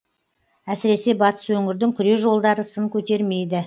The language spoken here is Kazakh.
әсіресе батыс өңірдің күре жолдары сын көтермейді